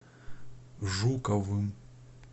жуковым